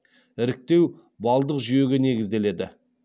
іріктеу баллдық жүйеге негізделеді